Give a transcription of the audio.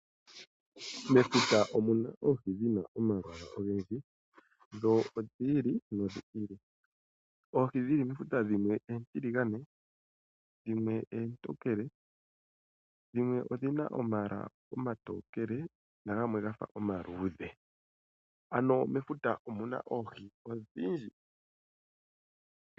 Mefuta omuna Oohi dhina omalwaala ogendji dho odhi ili nodhi ili. Oohi dhili mefuta dhimwe oontiligane, dhimwe eentokele, dhimwe odhina omayala omatokele na gamwe gafa omaluudhe. Ano mefuta omuna Oohi odhindji.